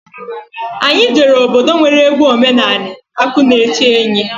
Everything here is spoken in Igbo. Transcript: Anyị jere obodo nwere egwu omenani akụnaechenyi.